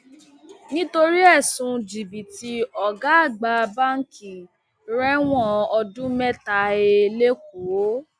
nítorí ẹsùn jìbìtì ọgá àgbà báǹkì rẹwọn ọdún mẹta he lẹkọọ